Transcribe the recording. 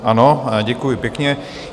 Ano, děkuji pěkně.